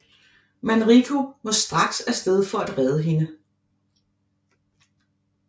Manrico må straks afsted for at redde hende